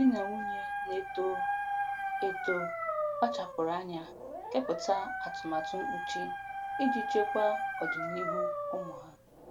Di na nwunye na-eto eto kpachapụrụ anya kepụta atụmatụ mkpuchi iji chekwaa ọdịniihu ụmụ ha.